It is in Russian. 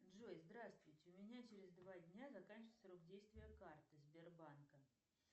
джой здравствуйте у меня через два дня заканчивается срок действия карты сбербанка